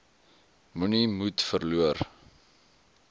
moenie moed verloor